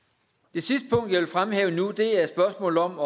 det sidste punkt jeg vil fremhæve nu er spørgsmålet om